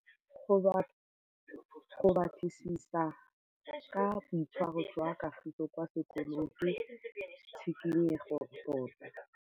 Go batlisisa ka boitshwaro jwa Kagiso kwa sekolong ke tshikinyêgô tota.